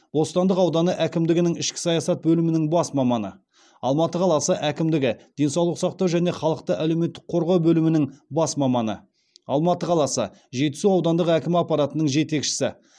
бостандық ауданы әкімдігінің ішкі саясат бөлімінің бас маманы алматы қаласы әкімдігі денсаулық сақтау және халықты әлеуметтік қорғау бөлімінің бас маманы алматы қаласы жетісу аудандық әкім аппаратының жетекшісі